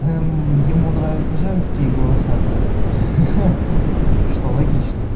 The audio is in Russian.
ему нравятся женские голоса как бы ха-ха что логично